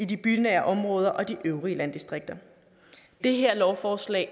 de bynære områder og de øvrige landdistrikter det her lovforslag